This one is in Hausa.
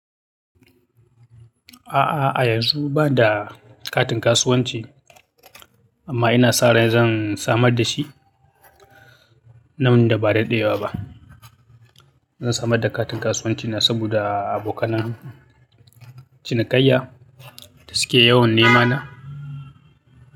A'a, a yanzu banda katin kasuwanci, amma ina sa ran zan samar da shi nan da ba daɗewa ba. Zan samar da katin kasuwancina saboda abokanan cinikayya da suke yawan nema na.